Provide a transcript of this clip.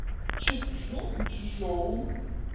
чжучжоу